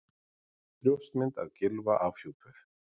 Brjóstmynd af Gylfa afhjúpuð